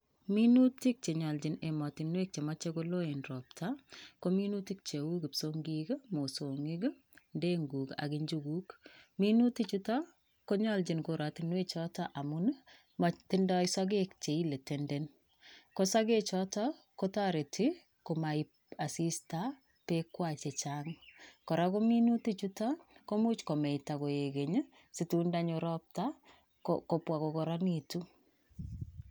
Minutik chenyolchin emotinwek chemoche koloen robta ko minutik cheu kipsong'ik, mosong'ik, ndenguk ak njukuk, minuti chuton konyolchin korotinwe choton amun motindo sokek chein chetenden, kosoke choton kotoreti komoib asista beekwak chechang, koa minuti chuton koimuch komeita koik keny situn ndonyo robta kobwa kokoronitu.